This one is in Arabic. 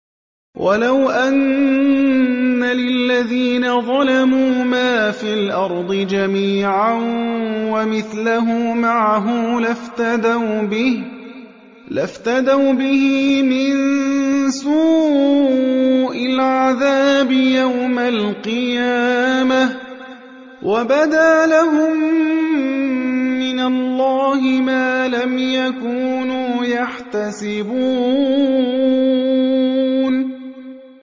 وَلَوْ أَنَّ لِلَّذِينَ ظَلَمُوا مَا فِي الْأَرْضِ جَمِيعًا وَمِثْلَهُ مَعَهُ لَافْتَدَوْا بِهِ مِن سُوءِ الْعَذَابِ يَوْمَ الْقِيَامَةِ ۚ وَبَدَا لَهُم مِّنَ اللَّهِ مَا لَمْ يَكُونُوا يَحْتَسِبُونَ